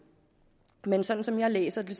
men som som jeg læser det